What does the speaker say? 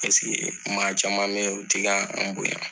maa caman bɛ yen olu ti k'an bonya .